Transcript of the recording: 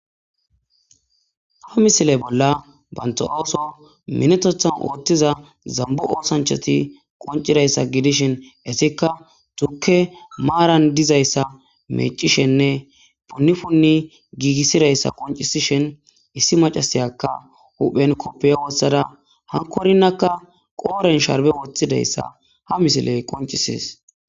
Ha misile bolla banto ooso minetothan ooththiza zambu oosanchoti qoncidayssa gidishin esikka tukke maaran dizayssa mecishenne punni punni giigissidayssa qoncisishin issi macasayakka huphen koppeyo wossada hankorinakka qooren sharbe woththidayssa ha misiley qoncisis.